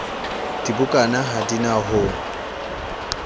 dibukana ha di na ho